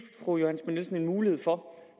fru johanne nielsen en mulighed for